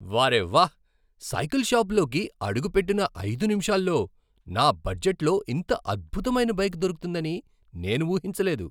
వా రే వాహ్! సైకిల్ షాపులోకి అడుగు పెట్టిన ఐదు నిమిషాల్లో నా బడ్జెట్లో ఇంత అద్భుతమైన బైక్ దొరుకుతుందని నేను ఊహించలేదు.